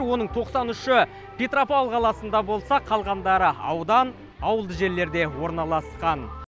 оның тоқсан үші петропавл қаласында болса қалғандары аудан ауылды жерлерде орналасқан